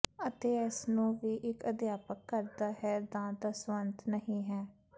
ਅਤੇ ਇਸ ਨੂੰ ਵੀ ਇੱਕ ਅਧਿਆਪਕ ਕਰਦਾ ਹੈ ਦਾ ਦਸਵੰਧ ਨਹੀ ਹੈ